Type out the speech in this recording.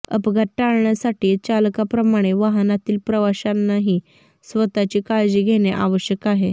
अपघात टाळण्यासाठी चालकाप्रमाणे वाहनातील प्रवाशांनीही स्वतःची काळजी घेणे आवश्यक आहे